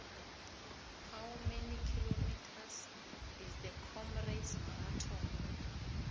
how many kilometres is the comrades marathon